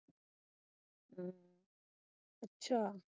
ਅੱਛਾ।